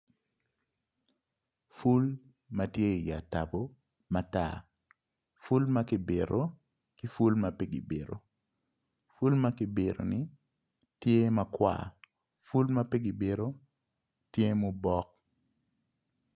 Ful ma tye i atubu matar ful ma ki bito ki ful ma pi ki bito ful ma ki bitoni tye makwar ful ma pe ki bito tye mubok